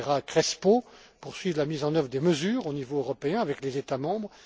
M. Calleja Crespo, pour suivre la mise en œuvre des mesures au niveau européen avec les États membres.